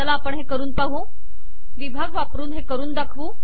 चला तर हे करून पाहू विभाग वापरून हे करून दाखवू